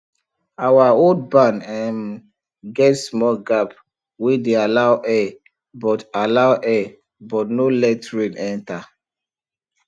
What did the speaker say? our old barn[um] get small gap wey dey allow air but allow air but no let rain enter